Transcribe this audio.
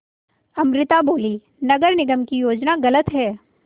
अमृता बोलीं नगर निगम की योजना गलत है